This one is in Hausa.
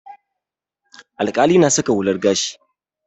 Alƙalai na saka hular gashi.